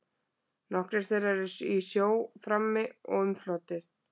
Nokkrir þeirra eru í sjó frammi og umflotnir.